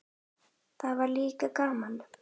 Það var líka gaman.